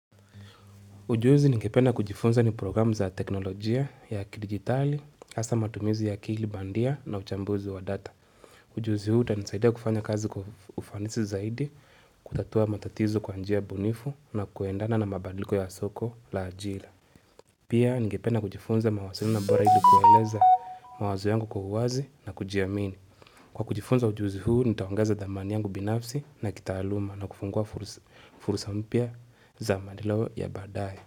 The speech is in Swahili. Ujuzi ningependa kujifunza ni programu za teknolojia ya kidigitali, hasa matumizi ya akili bandia na uchambuzi wa data. Ujuzi huu utanisaidia kufanya kazi kwa ufanisi zaidi, kutatua matatizo kwa njia bunifu na kuendana na mabadliko ya soko la ajira. Pia ningependa kujifunza mawasiliano bora ili kueleza mawazo yangu kwa uwazi na kujiamini. Kwa kujifunza ujuzi huu, nitaongeza dhamani yangu binafsi na kitaaluma na kufungua fursa mpya za maendeo ya baadaye.